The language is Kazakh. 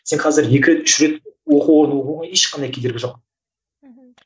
сен қазір екі рет үш рет оқу орнын оқуға ешқандай кедергі жоқ мхм